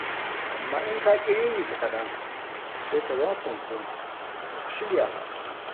Amma in ka ƙi ririta kaɗan, sai ka zama fanko ba ka shirya ba.